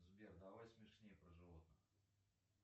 сбер давай смешней про животных